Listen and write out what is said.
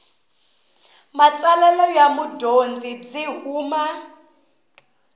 matsalelo ya mudyondzi byi huma